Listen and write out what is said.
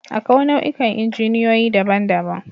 Akwai nau'ikan injiniyoyi daban-daban